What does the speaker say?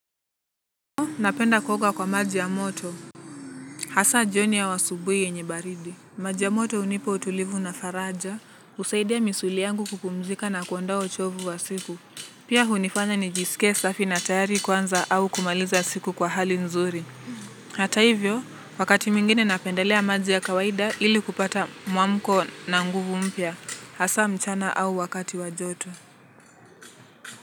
Napenda kuoga kwa maji ya moto. Hasa jioni au asubuhi yenye baridi maji ya moto hunipa utulivu na faraja husaidia misuli yangu kupumzika na kuondoa uchovu wa siku. Pia hunifanya nijisike safi na tayari kuanza au kumaliza siku kwa hali nzuri. Hata hivyo, wakati mwingine napendelea maji ya kawaida ili kupata mwamko na nguvu mpya. Hasa mchana au wakati wa joto.